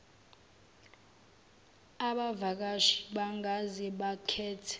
abavakashi bangaze bakhethe